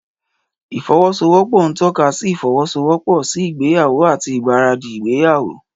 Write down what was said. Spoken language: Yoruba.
Ìfọwọ́sowọ́pọ̀ ń tọ́ka sí ìfọwọ́sowọ́pọ̀ sí ìgbéyàwó àti ìgbáradì ìgbéyàwó.